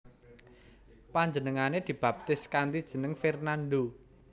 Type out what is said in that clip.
Panjenengané dibaptis kanthi jeneng Fernando